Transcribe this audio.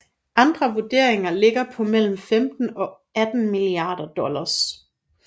Andre vurderinger ligger på mellem 15 og 18 milliarder dollars